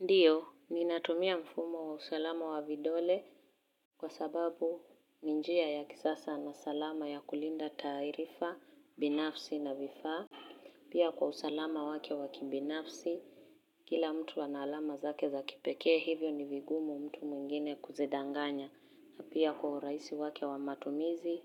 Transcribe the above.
Ndiyo, ninatumia mfumo wa usalama wa vidole kwa sababu ninjia ya kisasa na salama ya kulinda taarifa, binafsi na vifa. Pia kwa usalama wake wakibinafsi, kila mtu ana alama zake za kipeke hivyo ni vigumu mtu mwingine kuzidanganya. Pia kwa uraisi wake wamatumizi,